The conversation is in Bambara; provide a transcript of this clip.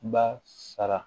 Ba sara